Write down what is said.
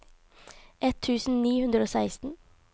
ett tusen ni hundre og seksten